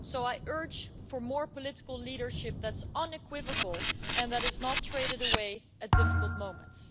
So I urge for more political leadership that is unequivocal and that is not traded away at difficult moments.